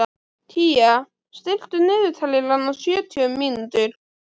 Kía, stilltu niðurteljara á sjötíu mínútur.